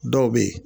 Dɔw bɛ yen